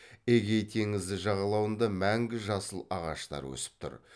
эгей теңізі жағалауында мәңгі жасыл ағаштар өсіп тұр